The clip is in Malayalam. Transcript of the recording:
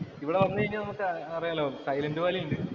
ഇവിടെ വന്നു കഴിഞ്ഞാല്‍ നമുക്ക് അറിയാലോ സൈലന്‍റ് വാലി ഉണ്ട്.